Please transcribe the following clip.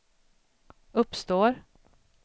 uppstår